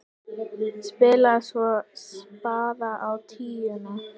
Spilaði svo spaða á tíuna!